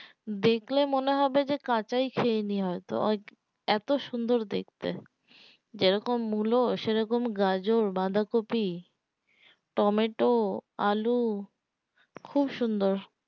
দেখলে মনে হবে যে কাচায় খেয়ে নি হয় তো ওই এতো সুন্দর দেখতে যে রকম মূলো সে রকম গাজর বাঁধাকপি টমেটো আলু খুব সুন্দর